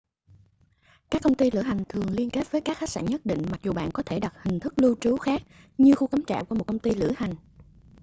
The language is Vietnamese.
các công ty lữ hành thường liên kết với các khách sạn nhất định mặc dù bạn có thể đặt hình thức lưu trú khác như khu cắm trại qua một công ty lữ hành